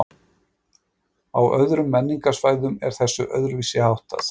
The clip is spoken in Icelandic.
Á öðrum menningarsvæðum er þessu öðruvísi háttað.